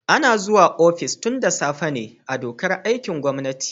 Ana zuwa ofis tun da safe ne a dokar aikin gwamnati.